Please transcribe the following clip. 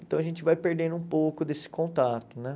Então a gente vai perdendo um pouco desse contato, né?